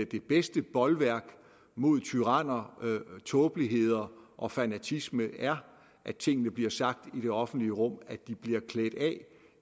det bedste bolværk mod tyranner tåbeligheder og fanatisme er at tingene bliver sagt i det offentlige rum at de bliver klædt af